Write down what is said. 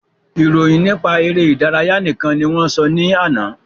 Ìròyìn nípa eré ìdárayá nìkan ni wọ́n sọ ní àná